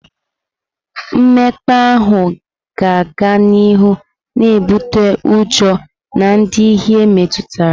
Mmekpa ahụ ga-aga n'ihu na-ebute ụjọ na ndị ihe metụtara.